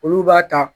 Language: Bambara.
Olu b'a ta